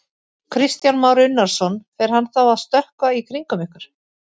Kristján Már Unnarsson: Fer hann þá að stökkva í kringum ykkur?